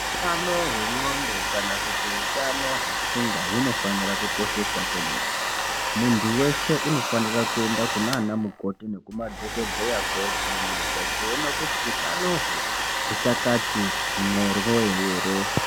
Utano hwendxondo kana kuti utano hwepfungwa hunofanira kukosheswa kwemene. Muntu weshe unofanira kuenda kunaanamukoti nekumadhokodheya kovhenekwa kuona kuti utanoho, huchakati nxoryo ere.